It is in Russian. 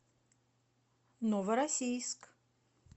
новороссийск